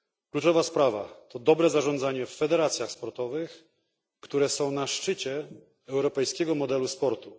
Kluczowa sprawa to dobre zarządzanie w federacjach sportowych, które są na szczycie europejskiego modelu sportu.